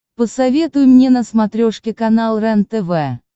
посоветуй мне на смотрешке канал рентв